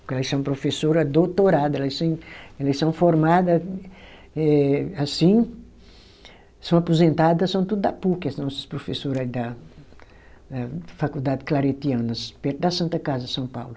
Porque elas são professora doutorada, elas sem elas são formada eh, assim, são aposentada, são tudo da puc, as nossas professora da da Faculdade Claretianas, perto da Santa Casa de São Paulo.